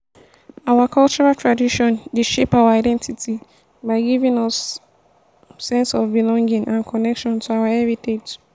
our cultural tradition dey shape our identity by giving us sense of belonging and connection to our heritage.